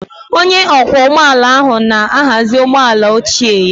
Onye ọkwọ ụgbọ ala ahụ na-ahazi ụgbọ ala ochie ya